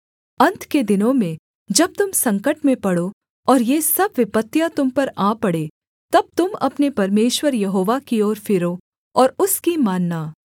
अन्त के दिनों में जब तुम संकट में पड़ो और ये सब विपत्तियाँ तुम पर आ पड़ें तब तुम अपने परमेश्वर यहोवा की ओर फिरो और उसकी मानना